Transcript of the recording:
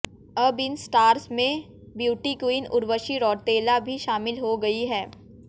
अब इन स्टार्स में ब्यूटी क्वीन उर्वशी रौतेला भी शामिल हो गई हैं